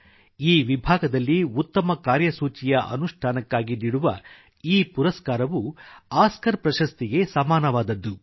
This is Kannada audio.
ಈ ವಿಭಾಗದಲ್ಲಿ ಉತ್ತಮ ಕಾರ್ಯಸೂಚಿಯ ಅನುಷ್ಠಾನಕ್ಕಾಗಿ ನೀಡುವ ಈ ಪುರಸ್ಕಾರವು ಆಸ್ಕರ್ ಪ್ರಶಸ್ತಿಗೆ ಸಮಾನವಾದದ್ದು